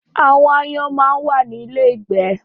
Áwòn àáyán má n wá ni ilé ígbè